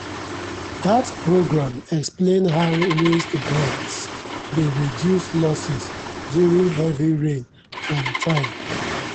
dat programme explain how raised beds dey reduce losses during heavy rain um time.